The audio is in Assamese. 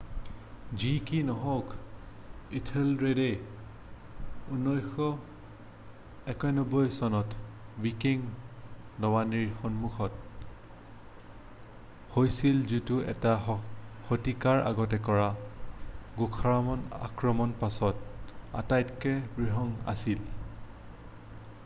যি কি নহওক ইথেলৰেডে 991 চনত ৱিকিং নৌবানীৰ সন্মুখীন হৈছিল যিটো এটা শতিকাৰ আগতে কৰা গুথ্ৰামৰ আক্ৰমণৰ পাছত আটাইতকৈ বৃহৎ আছিল